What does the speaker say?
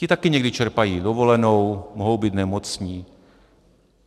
Ti taky někdy čerpají dovolenou, mohou být nemocní.